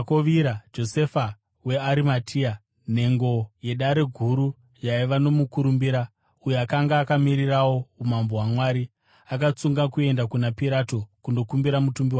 Josefa weArimatea, nhengo yeDare Guru yaiva nomukurumbira, uyo akanga akamirirawo umambo hwaMwari, akatsunga kuenda kuna Pirato kundokumbira mutumbi waJesu.